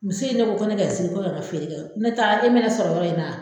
Muso in de ko ko ne ka n sigi ko ne ka feere kɛ , nɔtɛ taa e bɛna ne sɔrɔ yɔrɔ in na!